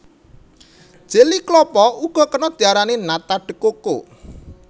Jeli klapa uga kena diarani nata de coco